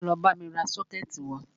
Wá lọ bámi ra sọ́kẹ̀tì wá!